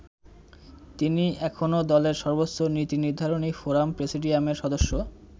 তিনি এখনো দলের সর্বোচ্চ নীতিনির্ধারণী ফোরাম প্রেসিডিয়ামের সদস্য।